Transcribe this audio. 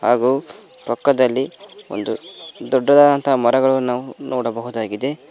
ಹಾಗು ಪಕ್ಕದಲ್ಲಿ ಒಂದು ದೊಡ್ಡದಾದಂತಹ ಮರಗಳನ್ನು ನೋಡಬಹುದಾಗಿದೆ.